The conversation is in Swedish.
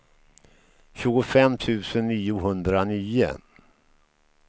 tjugofem tusen niohundranio